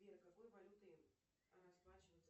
сбер какой валютой расплачиваются